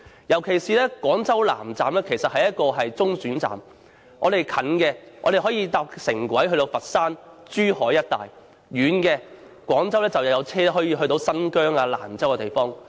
尤其是廣州南站是中轉站，近的，可乘坐廣珠城際軌道交通前往佛山和珠海一帶；遠的，廣州有車前往新疆或蘭州。